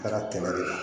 Ala ka tɛmɛ de kan